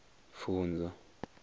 pfunzo